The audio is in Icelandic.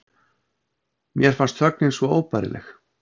Mér fannst þögnin svo óbærileg.